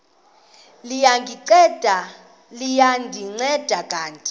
liya ndinceda kanti